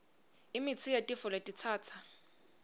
imitsi yetifo letitsatsa